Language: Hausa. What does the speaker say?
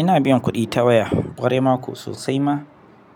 Ina biyan kuɗi ta waya kwarai ma kuwa sosai ma,